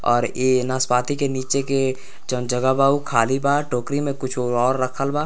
और इ नाशपाती के नीचे के जन जगह बा उ खाली बा टोकरी में कुछों और रखल वा।